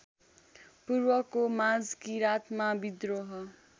पूर्वको माझकिराँतमा विद्रोह